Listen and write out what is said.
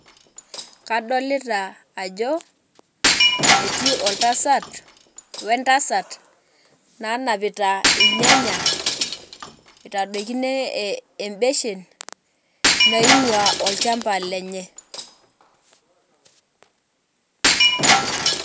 Kadolita ajo etii oltasat wentasat nanapita irnyanya itadokino e embeshen naingwaa olchamba lenye .